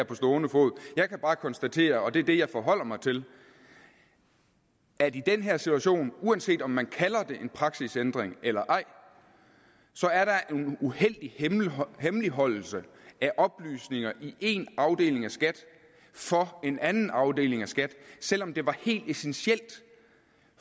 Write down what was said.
på stående fod jeg kan bare konstatere og det er det jeg forholder mig til at i den her situation uanset om man kalder det en praksisændring eller ej så er der en uheldig hemmeligholdelse af oplysninger i én afdeling af skat for en anden afdeling af skat selv om det var helt essentielt